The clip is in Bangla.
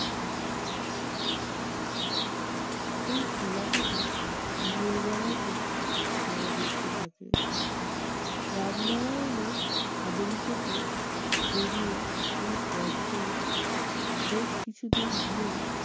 এই এলাকাটা দিনের বেলাতেও ছায়াবৃত্ত থাকে। রামনারায়ণের থেকে বেরিয়ে, এই পথ ধরে বেশ কিছুদূর গিয়ে